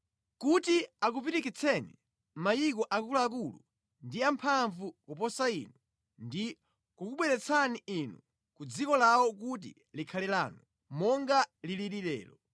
kuti akupirikitsireni mayiko akuluakulu ndi amphamvu kuposa inu, ndi kukubweretsani inu ku dziko lawo kuti likhale lanu, monga liliri lero.